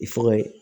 I fanga ye